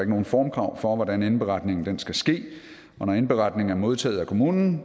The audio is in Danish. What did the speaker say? nogen formkrav for hvordan indberetningen skal ske og når indberetningen er modtaget af kommunen